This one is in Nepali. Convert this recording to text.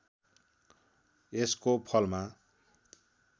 यसको फलमा